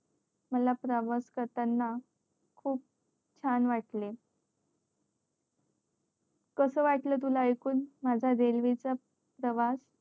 मला प्रवास करताना खूप छान वाटले कसं वाटलं तुला ऐकून माझा रेल्वे चा प्रवास